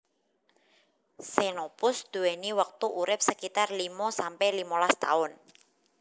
Xenopus duwéni wektu urip sekitar limo sampe limolas taun